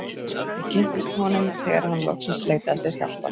Ég kynntist honum þegar hann loksins leitaði sér hjálpar.